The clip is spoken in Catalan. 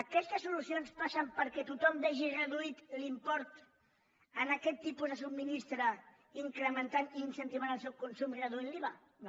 aquestes solucions passen perquè tothom vegi reduït l’import en aquest tipus de subministrament incrementant i incentivant el seu consum reduint l’iva no